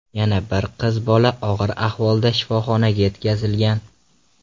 Yana bir qiz bola og‘ir ahvolda shifoxonaga yetkazilgan.